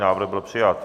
Návrh byl přijat.